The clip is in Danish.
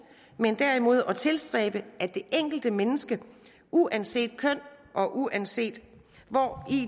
men derimod at tilstræbe at de enkelte mennesker uanset køn og uanset hvori